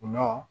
Gulɔ